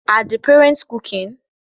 Are the parents cooking?